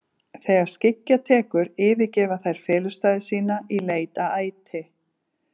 Þegar skyggja tekur yfirgefa þær felustaði sína í leit að æti.